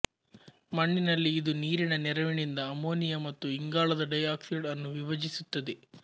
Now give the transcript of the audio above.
ಮಣ್ಣಿನಲ್ಲಿ ಇದು ನೀರಿನ ನೆರವಿನಿಂದ ಅಮೋನಿಯ ಮತ್ತು ಇಂಗಾಲದ ಡೈ ಆಕ್ಸೈಡ್ ಅನ್ನು ವಿಭಜಿಸುತ್ತದೆ